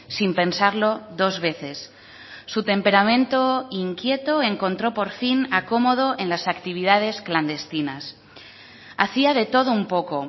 sin pensarlo dos veces su temperamento inquieto encontró por fin acomodo en las actividades clandestinas hacía de todo un poco